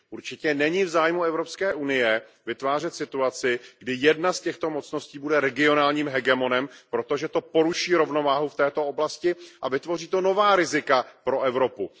Určitě není v zájmu EU vytvářet situaci, kdy jedna z těchto mocností bude regionálním hegemonem, protože to poruší rovnováhu v této oblasti a vytvoří to nová rizika pro Evropu.